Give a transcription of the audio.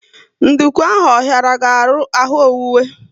Nduku ahụ ọ hiara gị ahụ owuwe?